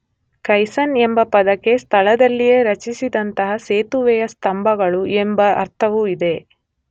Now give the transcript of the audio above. Kaizen ಎಂಬ ಪದಕ್ಕೆ ಸ್ಥಳದಲ್ಲಿಯೇ ರಚಿಸಿದಂಥ ಸೇತುವೆಯ ಸ್ತಂಭಗಳು ಎಂಬ ಅರ್ಥವೂ ಇದೆ.